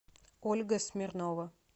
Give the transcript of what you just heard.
ольга смирнова